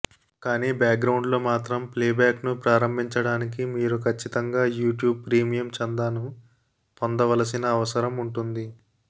కానీ background లో మాత్రం ప్లేబ్యాక్ను ప్రారంభించడానికి మీరు ఖచ్చితంగా యూట్యూబ్ ప్రీమియం చందాను పొందవలసిన అవసరం ఉంటుంది